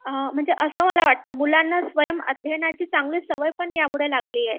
म्हणजे असं मला वाटत, मुलांना स्वयं अध्यायनाची सवय पण यामूळे लागली आहे